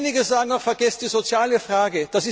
Einige sagen auch Vergesst die soziale Frage.